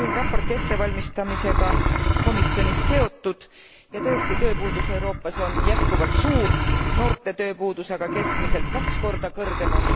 Olin raporti ettevalmistamisega komisjonis seotud, ja tõesti tööpuudus Euroopas on jätkuvalt suur, noorte tööpuudus aga keskmiselt kaks korda kõrgem.